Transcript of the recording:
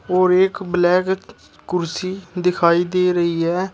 और एक ब्लैक कुर्सी दिखाई दे रही है।